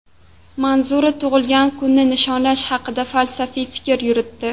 Manzura tug‘ilgan kunni nishonlash haqida falsafiy fikr yuritdi.